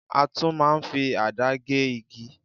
A tún máa ń fi àdá gé igi.